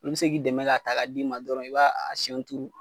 n be se k'i dɛmɛ k'a ta k'a d'i ma dɔrɔn i b'a sɛnw turu